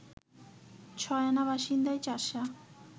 ছয় আনা বাসিন্দাই চাষা